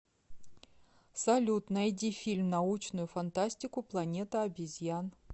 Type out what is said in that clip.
салют найди фильм научную фантастику планета обезьян